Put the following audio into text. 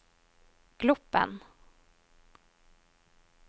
Gloppen